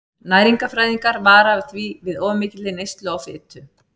Næringarfræðingar vara því við of mikilli neyslu á fitu.